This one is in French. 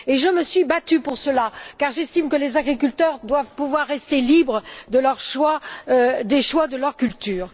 Je me suis battue pour cela car j'estime que les agriculteurs doivent pouvoir rester libres des choix de leurs cultures.